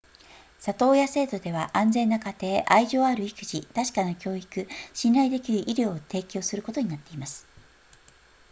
里親制度では安全な家庭愛情ある育児確かな教育信頼できる医療を提供することになっています